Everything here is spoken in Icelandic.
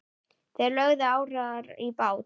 Þeir lögðu árar í bát.